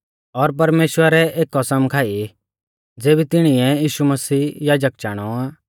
और परमेश्‍वरै एक कसम खाई ज़ेबी तिणिऐ यीशु मसीह याजक चाणौ आ